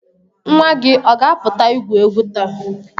Nwa gị ọ ga-apụta igwu egwu taa?